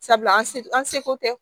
Sabula an se an seko tɛ